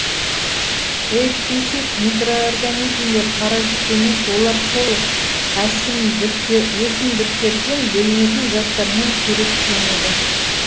эіпифит микроорганизмдер паразит емес олар сол өсімдіктерден бөлінетін заттармен қоректенеді